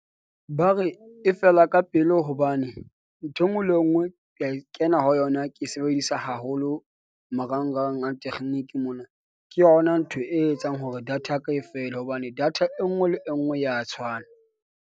Ba re e fela ka pele hobane ntho e nngwe le e nngwe ke a kena ho yona, ke sebedisa haholo marangrang a tekgeniki. Mona ke yona ntho e etsang hore data ya ka e fele, hobane data e nngwe le e nngwe ya tshwana.